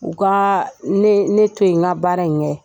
U ka ne to yen n ka baara in kɛ